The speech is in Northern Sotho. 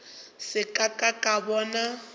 se ka ka ka bona